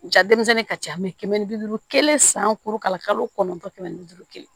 Ja denmisɛnnin ka ca kɛmɛ ni bi duuru kelen san duuru k'a la kalo kɔnɔntɔn kɛmɛ ni bi duuru kelen